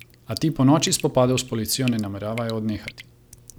A ti po noči spopadov s policijo ne nameravaj odnehati.